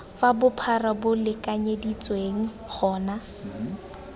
fa bophara bo lekanyeditsweng gona